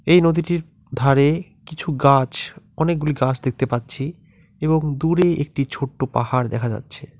এই নদীটির ধারে কিছু গাছ অনেকগুলি গাছ দেখতে পাচ্ছি এবং দূরে একটি ছোট্ট পাহাড় দেখা যাচ্ছে।